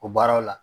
O baaraw la